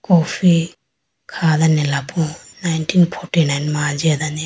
Coffee kha dane la po ma ajiyadane.